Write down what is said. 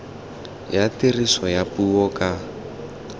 ya tiriso ya puo ka